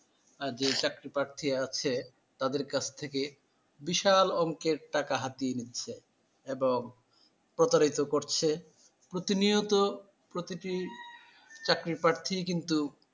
আর যে চাকরিপ্রার্থী আছে তাদের কাছ থেকে বিশাল অঙ্কের টাকা হাতিয়ে নিচ্ছে এবং প্রতারিত করছে প্রতিনিয়ত প্রতিটি চাকরি প্রার্থীই কিন্তু